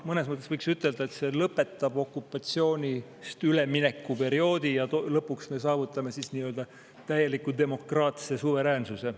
Mõnes mõttes võiks ütelda, et see lõpetab okupatsioonist ülemineku perioodi ja lõpuks me saavutame nii-öelda täieliku demokraatse suveräänsuse.